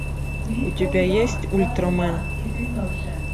у тебя есть ультрамен